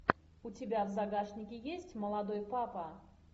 у тебя в загашнике есть молодой папа